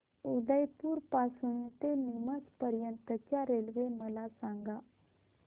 उदयपुर पासून ते नीमच पर्यंत च्या रेल्वे मला सांगा